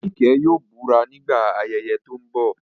Nike yóò búra nígbà ayẹyẹ tó ń bọ̀.